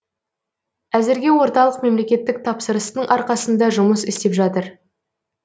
әзірге орталық мемлекеттік тапсырыстың арқасында жұмыс істеп жатыр